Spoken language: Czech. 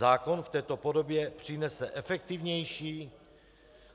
Zákon v této podobě přinese efektivnější,